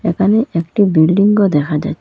এখানে একটি বিল্ডিংও দেখা যায়।